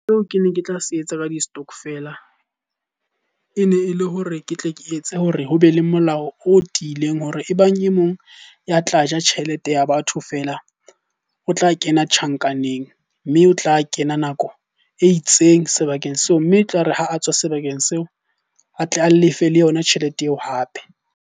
Eo ke ne ke tla se etsa ka di-stokvel, e ne e le hore ke tle ke etse hore ho be le molao o tiileng hore ebang e mong ya tla ja tjhelete ya batho feela. O tla kena tjhankaneng mme o tla kena nako e itseng sebakeng seo. Mme e tlare ha a tswa sebakeng seo, a tle a lefe le yona tjhelete eo hape.